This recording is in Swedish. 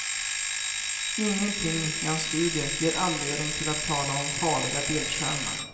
Ingenting i hans studie ger anledning till att tala om farliga bildskärmar.